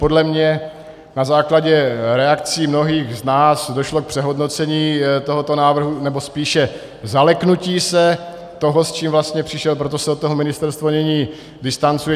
Podle mě na základě reakcí mnohých z nás došlo k přehodnocení tohoto návrhu, nebo spíše zaleknutí se toho, s čím vlastně přišel, proto se od toho ministerstvo nyní distancuje.